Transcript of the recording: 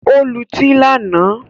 Ó lutí lánàá